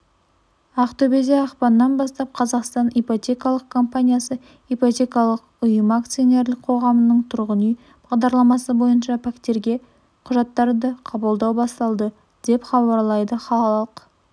ақтөбеде ақпаннан бастап қазақстан ипотекалық компаниясы ипотекалық ұйымы акционерлік қоғамының тұрғын үй бағдарламасы бойынша пәтерге құжаттарды қабылдау басталады деп хабарлайды қалалық